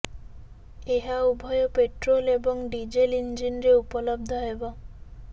ଏହା ଉଭୟ ପେଟ୍ରୋଲ୍ ଏବଂ ଡିଜେଲ୍ ଇଞ୍ଜିନରେ ଉପଲବ୍ଧ ହେବ